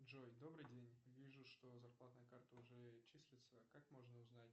джой добрый день вижу что зарплатная карта уже числится как можно узнать